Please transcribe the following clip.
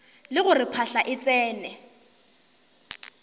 le gore phahla e tsene